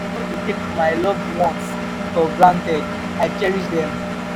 i no dey take my loved ones for granted i cherish dem